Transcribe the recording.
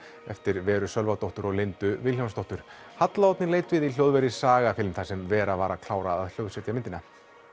eftir Veru Sölvadóttur og Lindu Vilhjálmsdóttur halla Oddný leit við í hljóðveri Sagafilm þar sem Vera var að klára að hljóðsetja myndina